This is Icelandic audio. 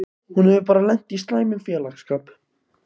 Hún hefur bara lent í slæmum félagsskap.